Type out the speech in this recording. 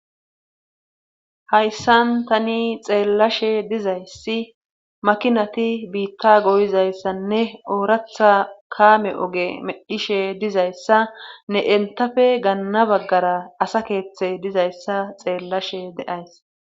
Hayssan tani xeellashe dizayssi makinati biitta goyizayssanne ooratha kaame oge meddhishe dizayssa ne entafe ganna baggara asa keeththe dizayssa xeellashe deays